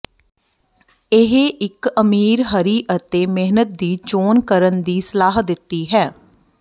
ਇਹ ਇੱਕ ਅਮੀਰ ਹਰੀ ਅਤੇ ਮਿਹਨਤ ਦੀ ਚੋਣ ਕਰਨ ਦੀ ਸਲਾਹ ਦਿੱਤੀ ਹੈ